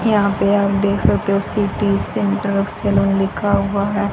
यहां पे आप देख सकते सिटी सेंटर सैलॉन लिखा हुआ है।